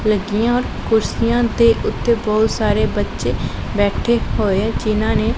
ਲੱਗੀਆਂ ਔਰ ਕੁਰਸੀਆਂ ਦੇ ਉੱਤੇ ਬਹੁਤ ਸਾਰੇ ਬੱਚੇ ਬੈਠੇ ਹੋਏ ਜਿਹਨਾਂ ਨੇਂ--